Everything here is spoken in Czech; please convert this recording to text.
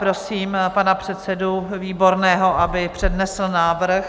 Prosím pana předsedu Výborného, aby přednesl návrh.